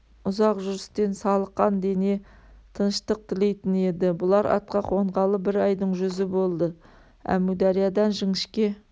ұзақ жүрістен салықан дене тыныштық тілейтін еді бұлар атқа қонғалы бір айдың жүзі болды әмудариядан жіңішке